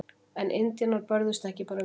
En indjánar börðust ekki bara vel.